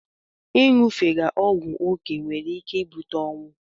Inyufega ogwu okee nwere ike ibute onwụ